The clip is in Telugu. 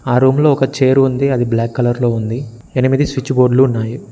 ఆ రూమ్ లో ఒక చైర్ ఉంది అది బ్లాక్ కలర్ లో ఉంది ఎనిమిది స్విచ్ బోర్డులు ఉన్నాయి.